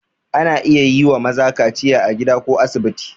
Ana iya yi wa maza kaciya a gida ko a asibiti.